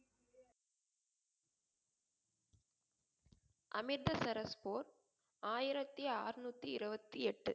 அமிர்தசரஸ் போர் ஆயிரத்தி ஆறுநூத்தி இருவத்தி எட்டு